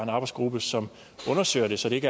arbejdsgruppe som undersøger det så det